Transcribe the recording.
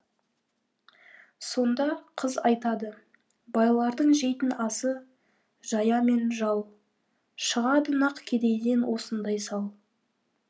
сонда қыз айтады байлардың жейтін асы жая мен жал шығады нақ кедейден осындай сал